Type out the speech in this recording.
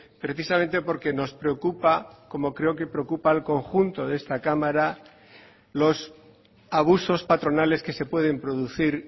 precisamente porque nos preocupa como creo que preocupa al conjunto de esta cámara los abusos patronales que se pueden producir